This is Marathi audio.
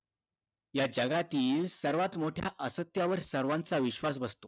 या जगातील सर्वात मोठ्या असत्यावर सर्वांचा विश्वास बसतो